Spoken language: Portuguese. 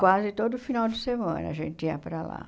Quase todo final de semana a gente ia para lá.